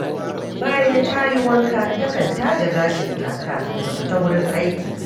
Bayan ta yi wanka, takan taje gashinta kafin ta fita wurin aiki